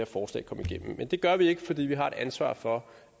forslag kom igennem men det gør vi ikke fordi vi har et ansvar for